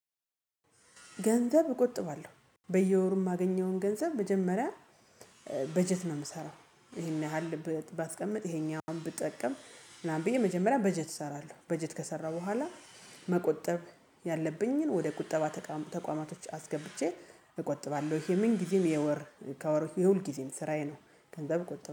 ገንዘብ እቆጥባለሁ በየወሩ የማገኘውን ገንዘብ መጀመሪያ በጀት ነው የምሰራው ይሄን ያህል ባስቀምጥ ይሄኛውን ብጠቀም ምናምን ብዬ መጀመሪያ በጀት እሰራለሁ በጀት ከሰራሁ በኋላ መቆጠብ ያለብኝን ወደ ቁጠባ ተቋማቶች አስገብቼ እቆጥባለሁ። የምን ጊዜም የወር ከወር የሁል ጊዜም ስራዬ ነው። ገንዘብ እቆጥባለሁ